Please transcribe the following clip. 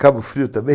Cabo Frio também?